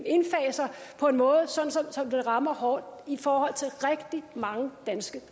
indfaser på en måde så det rammer hårdt i forhold til rigtig mange danske